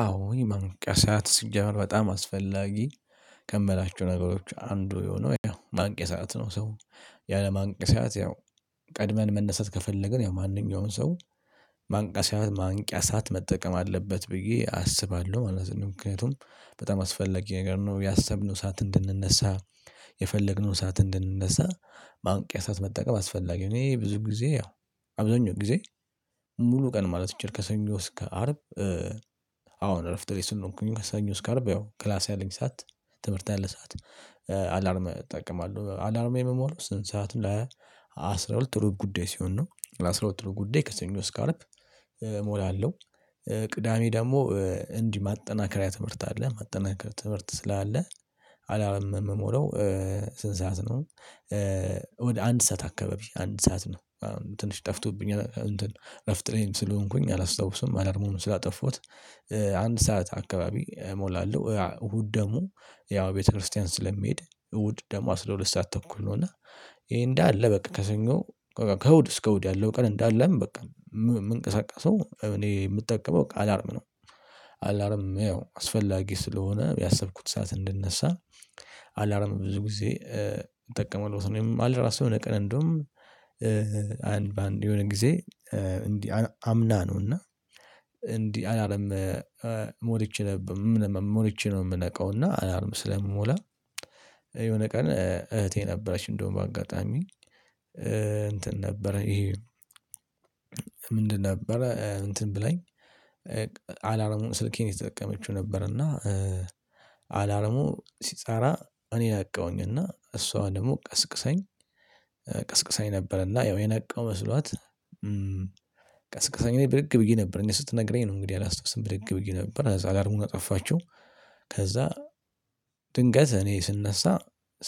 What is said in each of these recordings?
አዎ ይሄ ማንቀሳት ሲጀመር በጣም አስፈላጊ ከምላቸው ነገሮች አንዱ የሆነው ያው ማንቄሳት ነው። ሰው ያለ ማንቄያ ሰዓት ያው ቀድመን መነሳት ከፈለግን ያው ማንኛውንም ሰው ማንቂያ ሰዓት ማንቂያ ሰዓት መጠቀም አለበት ብዬ አስባለሁ ማለት ነው። ምክንያቱም በጣም አስፈለጊ ነገር ነው ያሰብነው ሰዓት እንድንነሳ የፈለግነውን ሳዓት እንድንነሳ ማንቂያ እሳት መጠቀም አስፈላጊ እኔ ብዙ ጊዜ ያው አብዛኛው ጊዜ ሙሉ ቀን ማለት ይቻላል ከሰኞ እስከ አርብ። አሁን እረፍት ላይ ስለሆንኩኝ ነው ከሰኞ እስከ አርብ ያው ክላስ ያለኝ ሰዓት ትምህርት ያለ ሰዓት አላርም እጠቀማለሁ አላርም የምሞላው ስንት ሰዓት ለ አስራ ሁለት ሩብ ጉዳይ ሲሆን ነው ለአስራ ሁለት ሩብ ጉዳይ ከሰኞ እስከ አርብ እሞላለሁ። ቅዳሜ ደግሞ እንዲህ ማጠናከሪያ ትምህርት አለ ማጠናከሪያ ትምህርት ስላለ አላርም የምሞላው ስንት ሰዓት ነው ወደ አንድ ሰዓት አካባቢ አንድ ሰዓት ነው። ትንሽ ጠፍቶብኛል እንትን እረፍት ላይም ስለሆነኩኝ አላስታውስም አላርሙንም ስላጠፉት። አንድ ሰዓት አካባቢ እሞላለሁ እሁድ ደግሞ ያው ቤተክርስቲያን ስለምሄድ እሁድ አስራ ሁለት ሰዓት ተኩል ነው እና ይሄ እንዳለ በቃ ከሰኞ ከእሁድ እስከ እሁድ ያለው ቀን እንዳለም በቃ የምንቀሳቀሰው እኔ የምጠቀመው አላርም ነው። አላርም አስፈላጊ ስለሆነ ያሰብኩት ሰዓት እንድነሳ አላርም ብዙ ጊዜ እጠቀማለሁ ወይም አለ ራሱ የሆነ ቀን እንደውም አንድ በአንድ የሆነ ጊዜ እንዲህ አምና ነው እና እንዲህ አላርም ሞልቼ ነበር ሞልቼ ነው የምነቃው እና አላርም ስለምሞላ። የሆነ ቀን እህቴ ነበረች እንደውም በአጋጣሚ እንትን ነበረ ይሄ? ምንድን ነበረ እንትን ብላኝ አላርሙን ስልኬን እየተጠቀመችው ነበር እና አላርሙ ሲጻራ እኔ ነቃውኝና እሷ ደግሞ ቀስቅሳኝ ቀስቅሳኝ ነበረና ያው የነቃው መስሏት ቀስቅሳኝ እኔ ብድግ ብዬ ነበር እኔ ስትነግረኝ ነው እንግዲህ አላስታውስም ብድግ ብዬ ነበር ከዛ አላርሙን አጠፋቸው። ከዛ ድንገት እኔ ስነሳ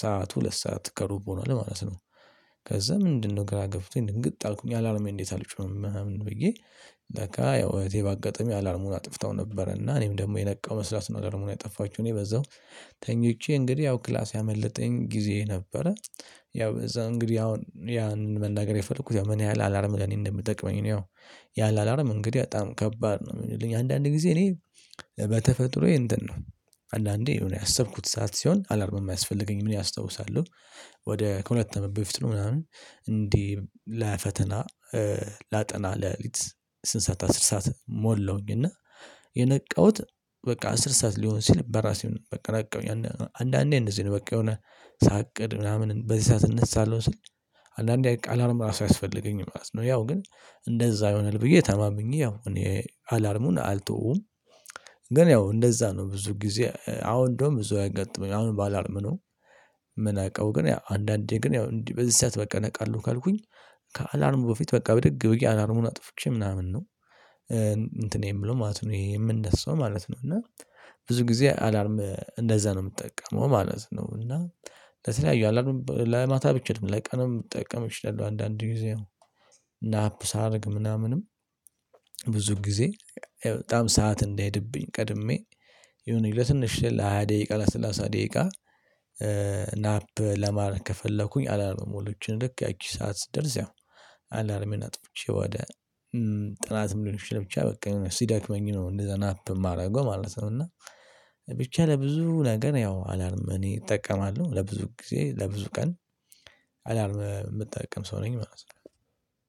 ሰዓት ሁለት ሰዓት ከሩብ ሆኗል ማለት ነው። ከዛ ምንድነው ግራ ገብቶኝ ድንግጥ አልኩኝ አላርሜ እንዴት? አልጮህም ምናምን ብዬ ለካ ያው እህቴ ባጋጣሚ አላርሙን አጥፍታው ነበር እና እኔም ደግሞ የነቃው መስሏት ነው። አላርሙን የጠፋችው እኔ በዛው ተኝቼ እንግዲህ ያው ክላሴ ያመለጠኝ ጊዜ ነበረ። ያው እዛ እንግዲህ አሁን ያንን መናገር የፈለኩት ያው ምን ያህል አላርም ለኔ እንደሚጠቅመኝ ነው ያው ያለ አላርም እንግዲህ በጣም ከባድ ነው የሚሆንልኝ አንዳንድ ጊዜ እኔ በተፈጥሮዬ እንትን ነው አንዳንዴ የሆነ ያሰብኩት ሰዓት ሲሆን አላርም እሚያስፈልገኝ አስታውሳለሁ። ወደ ከሁለት አመት በፊት ነው ምናምን እንዲህ ለፈተና ላጠና ለሊት ስንት ሰዓት አስር ሰዓት ሞላሁኝ እና የነቃሁት በቃ አስር ሰዓት ሊሆን ሲል በራሴ በቃ ራቅ ብዬ አንዳንዴ እንደዚህ ነው በቃ የሆነ ሳቅድ ምናምን በዚህ ሰዓት እነሳለሁ ስል አንዳንዴ ቃል አላርም ራሱ አያስፈልገኝ ማለት ነው። ያው ግን እንደዛ ይሆንል ብዬ ተማምኜ ያው እኔ አላርሙን አልተዎዉም ግን ያው እንደዛ ነው ብዙ ጊዜ አሁ እንደውም ብዙ አያጋጠመኝም አሁን ባላርም ነው። ምንቃዊ ግን አንዳንዴ ግን ያው እንዲህ በዚህ ሰዓት በቃ ነቃለሁ ካልኩኝ ከአላርሙ በፊት በቃ ብድግ ብዬ አላርሙን አጥፍቼ ምናምን ነው። እንትን የምለው ማለት ነው ይሄ የምነሳው ማለት ነው እና ብዙ ጊዜ አላርም እንደዛ ነው የምጠቀመው ማለት ነው። እና ለተለያዩ አላምም ለማታ ብቻ ነው አይደለም ለቀንም ልጠቀም እችላለሁ አንዳንድ ጊዜ ናፕ ሳደርግ ምናምንም። ብዙ ጊዜ በጣም ሰዓት እንዳሄድብኝ ቀድሜ የሆነ ለትንሽ ለሃያ ደቂቃ ለሰላሳ ደቂቃ ናፕ ለማረግ ከፈለኩኝ አላርም ሞልቼ ልክ ያቺ ሰዓት ስትደርስ ያው አላርሜን አጥፍቼ ወደ ጥናትም ሊሆንም ይችላል ብቻ በቃ የሆነ ሲደክመኝ ነው እንደዛ ናፕ የማደርገው ማለት ነው። እና ብቻ ለብዙ ነገር ያው አላርም እኔ እጠቀማለሁ ለብዙ ጊዜ ለብዙ ቀን አላርም የምጠቀም ሰው ነኝ ማለት ነው